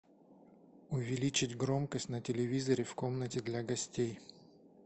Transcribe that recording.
увеличить громкость на телевизоре в комнате для гостей